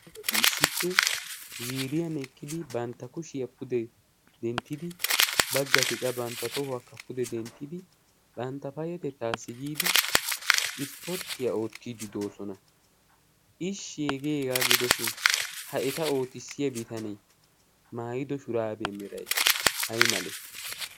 aggati issippe ziriyan ekqidi bantta kushiyaa pude denttidi bagga tiqa bantta xohuwaakka pude denttidi bantta payetettaassi giidi ispporttiyaa oottiiddi doosona. ishshiegeegaa gidoshin ha eta ootissiya bitanee maayido shuraabee meray ay male?